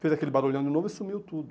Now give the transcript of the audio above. Fez aquele barulhão de novo e sumiu tudo.